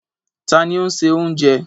Ta ni ó́ ń ṣe oúnjẹ?